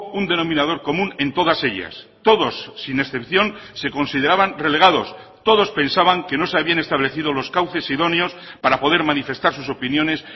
un denominador común en todas ellas todos sin excepción se consideraban relegados todos pensaban que no se habían establecido los cauces idóneos para poder manifestar sus opiniones